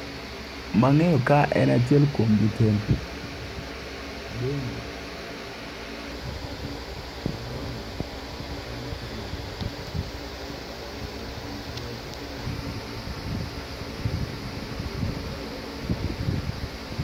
Mang'eyo ka en achiel kuom jotend bengi madongo e piny Kenya ka, to mogoye picha ka iluongo ni patrick Njoroge.